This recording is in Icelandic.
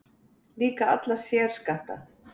Líka alla sérskatta